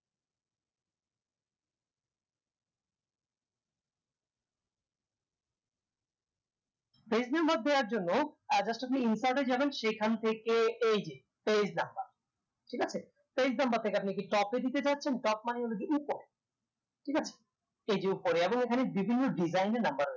page number দেয়ার জন্য uh just আপনি insert এ যাবেন সেখান থেকে এই যে page number ঠিক আছে page number থেকে আপনি কি top এ দিতে চাচ্ছেন top মানে হলো যে উপর ঠিক আছে এই যে উপরে এবং এখানে বিভিন্ন design এর number রয়েছে